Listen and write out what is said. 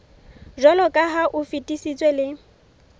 jwaloka ha o fetisitswe le